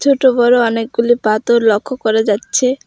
ছোট বড় অনেকগুলি পাথর লক্ষ করা যাচ্ছে।